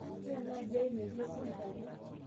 wore enaaji ai metii eserikani